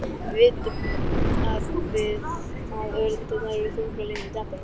Nú vitum við að öreindirnar eru þrungnar lifandi afli.